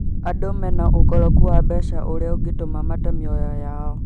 Andũ mena ũkoroku wa mbeca ũrĩa ungĩtuma mate mĩoyo yao